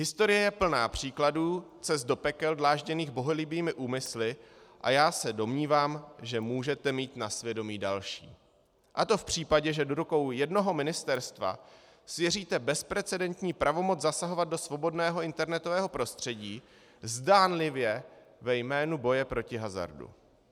Historie je plná příkladů cest do pekel dlážděných bohulibými úmysly a já se domnívám, že můžete mít na svědomí další, a to v případě, že do rukou jednoho ministerstva svěříte bezprecedentní pravomoc zasahovat do svobodného internetového prostředí zdánlivě ve jménu boje proti hazardu.